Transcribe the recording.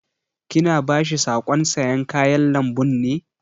Ki na ba shi saƙon sayan kayan lambun ne?